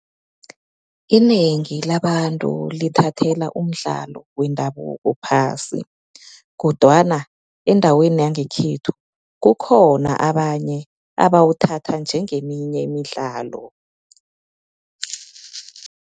Inengi labantu lithathela umdlalo wendabuko phasi kodwana endaweni yangekhethu, kukhona abanye abawuthatha njengeminye imidlalo.